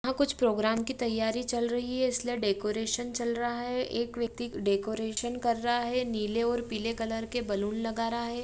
कुछ प्रोग्राम की तैयारी चल रही है इसलिए डेकोरेशन चल रहा है एक व्यक्ति डेकोरेशन कर रहा है नीले और पीले कलर के बैलून लगा रहा है।